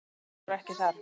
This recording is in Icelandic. Þær voru ekki þar.